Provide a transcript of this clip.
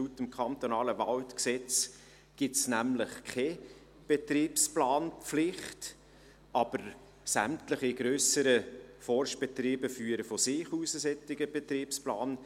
Laut dem Kantonalen Waldgesetz (KWaG) gibt es nämlich keine Betriebsplanpflicht, aber sämtliche grösseren Forstbetriebe führen von sich aus einen solchen Betriebsplan.